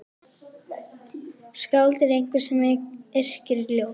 Skáld er einhver sem yrkir ljóð.